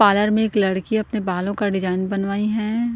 Parlour में एक लड़की अपने बालों का डिजाइन बनवाई हैं।